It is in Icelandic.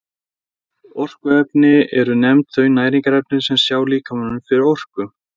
Orkuefni eru nefnd þau næringarefni sem sjá líkamanum fyrir orku.